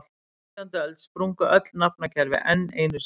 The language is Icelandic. Á nítjándu öld sprungu öll nafnakerfi enn einu sinni.